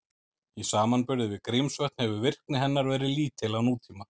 Í samanburði við Grímsvötn hefur virkni hennar verið lítil á nútíma.